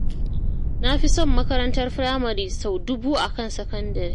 Na fi son makarantar Firamare sau dubu a kan sakandare